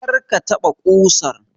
Kar ka taɓa ƙusan!